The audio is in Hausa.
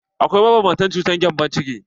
Akwai mabanbantan cutar gembon ciki.